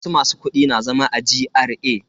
Wasu masu kudi na zama a GRA.